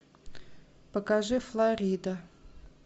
покажи флорида